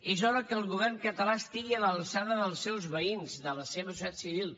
és hora que el govern català estigui a l’alçada dels seus veïns de la seva societat civil